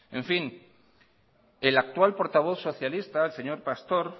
en fin el actual portavoz socialista el señor pastor